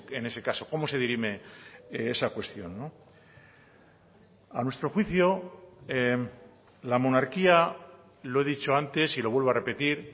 en ese caso cómo se dirime esa cuestión a nuestro juicio la monarquía lo he dicho antes y lo vuelvo a repetir